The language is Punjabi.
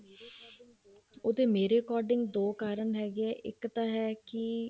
ਉਹਦੇ ਮੇਰੇ according ਦੋ ਕਾਰਨ ਹੈਗੇ ਆ ਇੱਕ ਤਾਂ ਹੈ ਕੀ